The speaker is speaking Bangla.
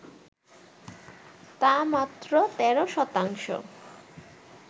তা মাত্র ১৩ শতাংশ